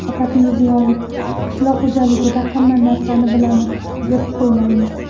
Shavkat Mirziyoyev: Qishloq xo‘jaligida hamma narsani bilamiz, deb o‘ylaymiz.